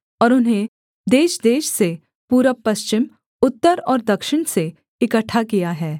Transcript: और उन्हें देशदेश से पूरबपश्चिम उत्तर और दक्षिण से इकट्ठा किया है